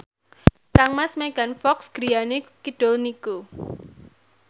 kangmas Megan Fox griyane kidul niku